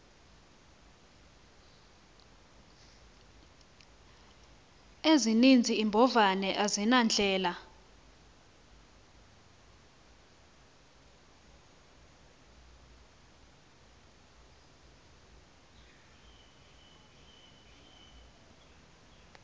ezininzi iimbovane azinandlela